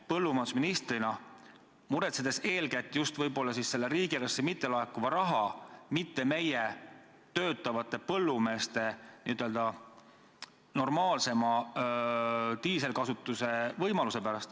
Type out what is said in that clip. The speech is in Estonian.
Põllumajandusministrina muretsete te ehk eeskätt just riigieelarvesse mittelaekuva raha pärast, mitte selle pärast, kas meie põllumeestel on normaalne võimalus diislikütust kasutada.